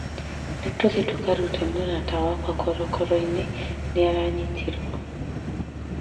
Nĩ tũthiĩ tũkarute mũrata wakwa korokoro-inĩ nĩ aranyitirwo